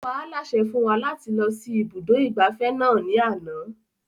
Ó paálásẹ fún wa láti lọ sí ibùdó ìgbafẹ́ náà ní àná